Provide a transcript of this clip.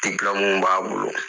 Diplɔmuw b'a bolo!